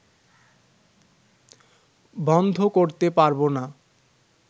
বন্ধ করতে পারব না